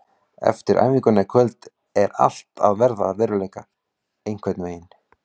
Eftir æfinguna í kvöld er allt að verða að veruleika einhvern veginn.